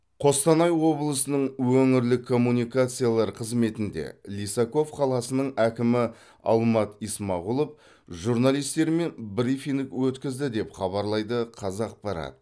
қостанай облысының өңірлік коммуникациялар қызметінде лисаков қаласының әкімі алмат исмағұлов журналистермен брифинг өткізді деп хабарлайды қазақпарат